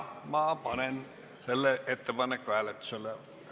Panen selle ettepaneku hääletusele.